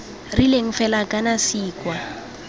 rileng fela kana c kwa